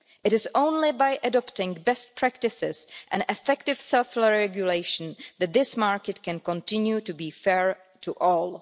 It is only by adopting best practices and effective self regulation that this market can continue to be fair to all.